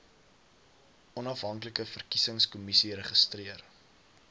onafhanklike verkiesingskommissie registreer